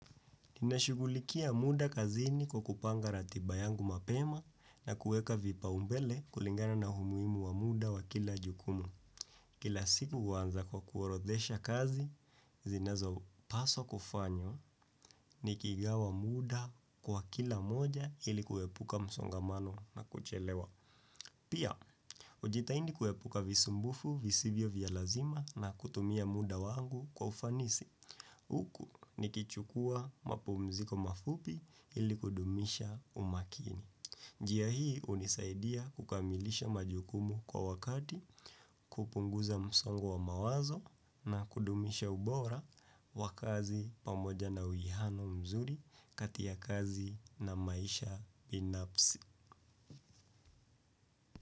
Ninashugulikia muda kazini kwa kupanga ratibayangu mapema na kueka vipa umbele kulingana na umuhimu wa muda wa kila jukumu. Kila siku huanza kwa kuorodhesha kazi, zinazo paswa kufanywa ni kigawa muda kwa kila moja ili kuepuka msongamano na kuchelewa. Pia, ujitaindi kuepuka visumbufu visivyo vyalazima na kutumia muda wangu kwa ufanisi. Huku ni kichukua mapumziko mafupi ili kudumisha umakini. Jia hii unisaidia kukamilisha majukumu kwa wakati. Kupunguza msongo wa mawazo na kudumisha ubora wakazi pamoja na uwihano mzuri katia kazi na maisha binapsi.